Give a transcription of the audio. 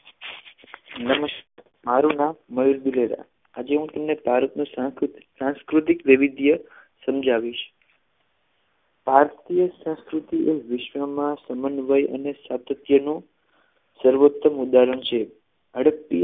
આજે હું તમને ભારતનો સાંસ્કૃતિક સાંસ્કૃતિક વૈવિધ્ય સમજાવીશ ભારતીય સંસ્કૃતિએ વિશ્વમાં સમન્વય અને સાર્થક નું સર્વોત્તમ ઉદાહરણ છે હડપ્પીય